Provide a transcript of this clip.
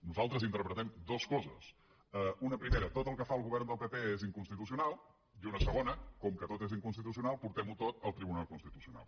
nosaltres interpretem dues coses una primera tot el que fa el govern del pp és inconstitucional i una segona com que tot és inconstitucional portem ho tot al tribunal constitucional